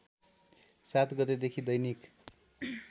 ७ गतेदेखि दैनिक